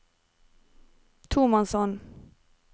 tomannshånd